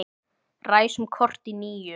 Ræsum kort í níu.